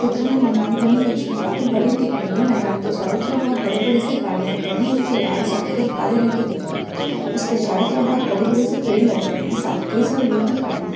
मेदान बनी हुई है जो की काफी बडी दिख रही है| मेदान के चारो तरफ बोहोत बडी -बडी सी गाडीया खडी है जो की लाल सफेद और काले रंग की दिख रही है| उसके चोरा तरफ बोहोत बडे -बडे से पेड लगे हुए है| साथ कई सारे लोग भी खडे है।